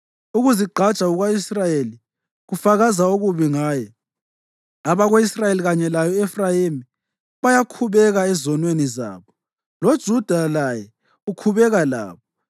Ukuzigqaja kuka-Israyeli kufakaza okubi ngaye; abako-Israyeli, kanye laye u-Efrayimi, bayakhubeka ezonweni zabo. LoJuda laye ukhubeka labo